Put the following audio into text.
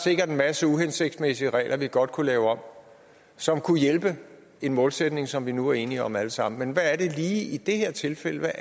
sikkert en masse uhensigtsmæssige regler vi godt kunne lave om og som kunne hjælpe en målsætning som vi nu er enige om alle sammen men hvad er det lige i det her tilfælde